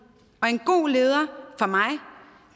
og en god leder